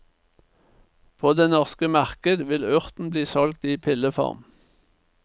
På det norske marked vil urten bli solgt i pilleform.